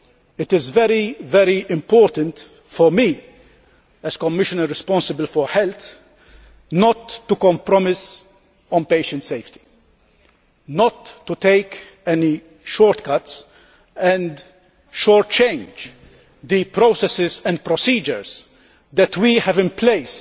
It is very important for me, as Commissioner responsible for health, not to compromise on patient safety, not to take any shortcuts and short circuit the processes and procedures that we have in place